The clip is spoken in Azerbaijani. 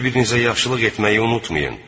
Bir-birinizə yaxşılıq etməyi unutmayın.